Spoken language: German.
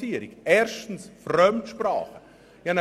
Erstens zu den Fremdsprachen: